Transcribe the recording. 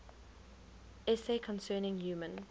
essay concerning human